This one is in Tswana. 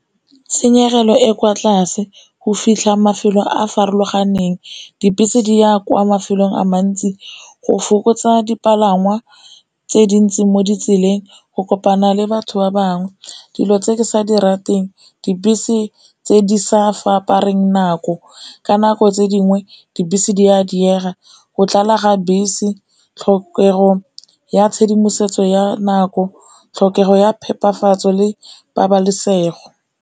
Tshenyegelo e kwa tlase, go fitlha mafelo a a farologaneng, dibese di ya kwa mafelong a mantsi, go fokotsa dipalangwa tse dintsi mo ditseleng, go kopana le batho ba bangwe. Dilo tse ke sa di rateng dibese tse di sa fapaneng nako, ka nako tse dingwe dibese di a diega, go tlala ga bese, tlhokego ya tshedimosetso ya nako, tlhokego ya phepafatso le pabalesego.